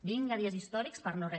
vinga dies històrics per no re